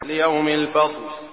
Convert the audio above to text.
لِيَوْمِ الْفَصْلِ